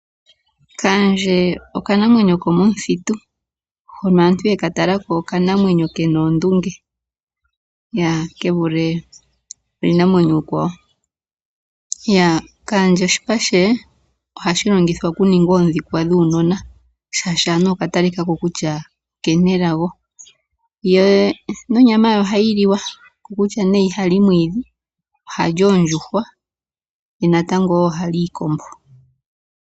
Kaandje okanamwenyo komomuthitu, hono aantu ye ka tala ko okanamwenyo ke na oondunge ke vule uunamwenyo uukwawo. Kaandje oshipa she ohashi longithwa okuninga oondhikwa dhuunona, shaashi anuwa okwa talika ko kutya oke na elago. Ye nonyama ye ohayi liwa, okutya nee iha li omwiidhi ohali oondjuhwa ye natango wo oha li iikombo.